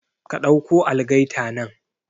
Ka ɗauko algaita nan